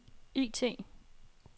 IT